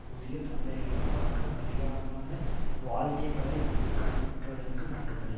புதிய சந்தைகளை மற்றும் அதிகமான வாழ்விடங்களை க் கைப்பற்றுவதற்கு மட்டுமல்ல